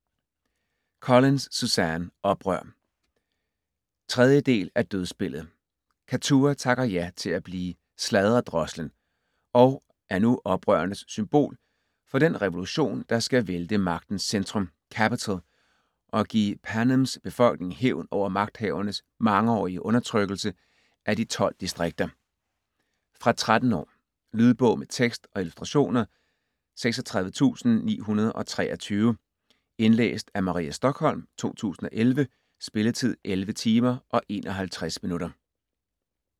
Collins, Suzanne: Oprør 3. del af Dødsspillet. Kattua takker ja til at blive "Sladredrosslen" og er nu oprørernes symbol for den revolution der skal vælte magtens centrum, Capitol, og give Panems befolkning hævn over magthavernes mangeårige undertrykkelse af de 12 distrikter. Fra 13 år. Lydbog med tekst og illustrationer 36923 Indlæst af Maria Stokholm, 2011. Spilletid: 11 timer, 51 minutter.